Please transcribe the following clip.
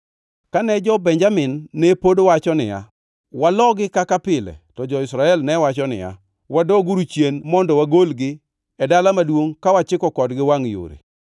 Kane jo-Benjamin ne pod wacho niya, “Walogi kaka pile,” to jo-Israel ne wacho niya, “Wadoguru chien mondo wagolgi e dala maduongʼ ka wachiko kodgi wangʼ yore.”